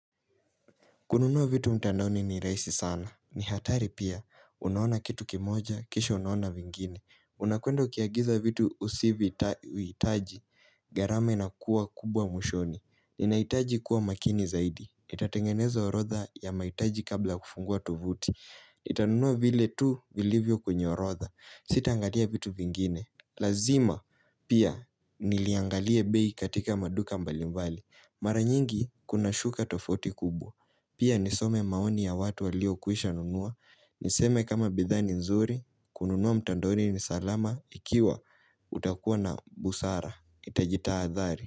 Kununua vitu mtandaoni ni rahisi sana. Ni hatari pia. Unaona kitu kimoja, kisha unaona vingine. Unakwenda ukiagiza vitu usivovihitaji. Gharama inakuwa kubwa mwishoni. Ninahitaji kuwa makini zaidi. Nitatengeneza orodha ya mahitaji kabla kufungua tovuti. NItanunua vile tu vilivyo kwenye orodha. Sitaangalia vitu vingine. Lazima pia niliangalia bei katika maduka mbali mbali. Mara nyingi kuna shuka tofauti kubwa. Pia nisome maoni ya watu waliokwisha nunua. Niseme kama bidhaa ni nzuri, kununua mtandoni ni salama ikiwa utakuwa na busara. Itajitahadhari.